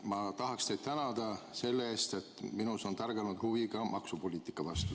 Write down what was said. Ma tahaksin teid tänada selle eest, et minus on tärganud huvi maksupoliitika vastu.